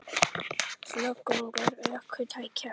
Fjölgun ökutækja?